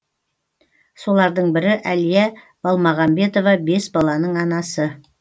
солардың бірі әлия балмағамбетова бес баланың анасы